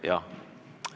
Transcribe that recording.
Jaa.